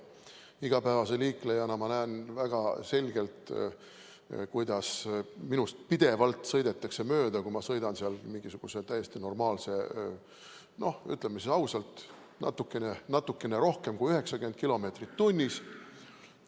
Igapäevase liiklejana näen ma väga selgelt, kuidas minust pidevalt sõidetakse mööda, kui ma sõidan täiesti normaalse kiirusega, ütleme ausalt, natukene rohkem kui 90 kilomeetrit tunnis.